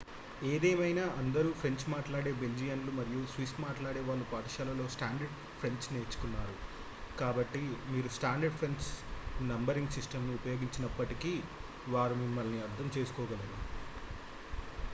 ఏదేమైనా అందరు ఫ్రెంచ్ మాట్లాడే బెల్జియన్లు మరియు స్విస్ వాళ్ళు పాఠశాలలో స్టాండర్డ్ ఫ్రెంచ్ నేర్చుకున్నారు కాబట్టి మీరు స్టాండర్డ్ ఫ్రెంచ్ నంబరింగ్ సిస్టంను ఉపయోగించినప్పటికీ వారు మిమ్మల్ని అర్థం చేసుకోగలరు